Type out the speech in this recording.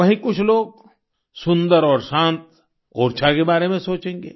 वहीँ कुछ लोग सुन्दर और शांत ओरछा के बारे में सोचेंगे